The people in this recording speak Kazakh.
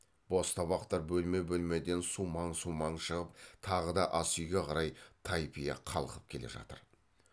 бос табақтар бөлме бөлмеден сумаң сумаң шығып тағы да асүйге қарай тайпия қалқып келе жатыр